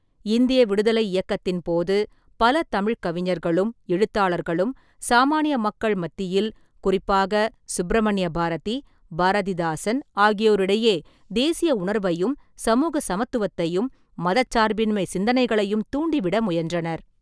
இந்திய விடுதலை இயக்கத்தின் போது, பல தமிழ்க் கவிஞர்களும், எழுத்தாளர்களும், சாமானிய மக்கள் மத்தியில், குறிப்பாக சுப்பிரமணிய பாரதி, பாரதிதாசன் ஆகியோரிடையே தேசிய உணர்வையும், சமூக சமத்துவத்தையும், மதச்சார்பின்மைச் சிந்தனைகளையும் தூண்டிவிட முயன்றனர்.